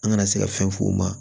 An kana se ka fɛn f'u ma